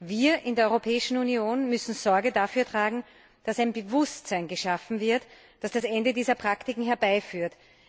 Wir in der Europäischen Union müssen Sorge dafür tragen, dass ein Bewusstsein dafür geschaffen wird, das das Ende dieser Praktiken herbeiführt.